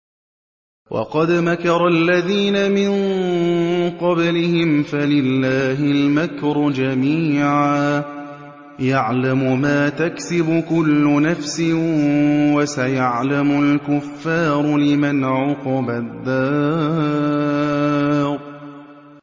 وَقَدْ مَكَرَ الَّذِينَ مِن قَبْلِهِمْ فَلِلَّهِ الْمَكْرُ جَمِيعًا ۖ يَعْلَمُ مَا تَكْسِبُ كُلُّ نَفْسٍ ۗ وَسَيَعْلَمُ الْكُفَّارُ لِمَنْ عُقْبَى الدَّارِ